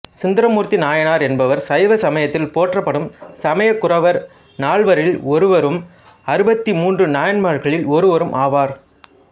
சுந்தரமூர்த்தி நாயனார் என்பவர் சைவசமயத்தில் போற்றப்படும் சமயக்குரவர் நால்வரில் ஒருவரும் அறுபத்து மூன்று நாயன்மார்களில் ஒருவரும் ஆவார்